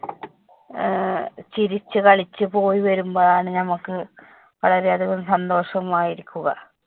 അഹ് ചിരിച്ചു കളിച്ചു പോയി വരുമ്പോൾ ആണ് നമുക്ക് വളരെ അധികം സന്തോഷം ആയിരിക്കുക.